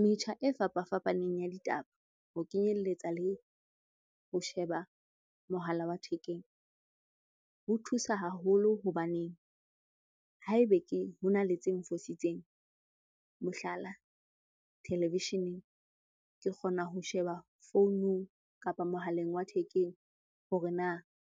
Metjha e fapafapaneng ya ditaba ho kenyelletsa le ho sheba mohala wa thekeng ho thusa haholo hobaneng haebe ke, ho na le tse nfositseng. Mohlala thelevisheneng, ke kgona ho sheba founung kapa mohaleng wa thekeng hore na